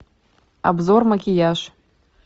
обзор макияж